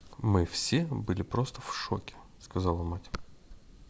мы все были просто в шоке - сказала мать